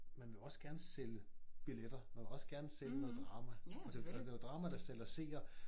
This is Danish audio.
Man vil også gerne sælge billetter man vil også gerne sælge noget drama og det og det jo drama der sælger seer